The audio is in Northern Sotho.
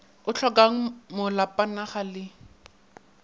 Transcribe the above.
o hlokangmo lapana ga le